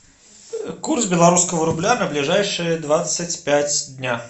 курс белорусского рубля на ближайшие двадцать пять дня